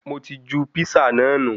Mo ti ju písà náà nu